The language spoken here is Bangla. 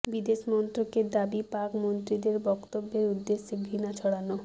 বিদেশ মন্ত্রকের দাবি পাক মন্ত্রীদের বক্তব্যের উদ্দেশ্য ঘৃণা ছড়ানো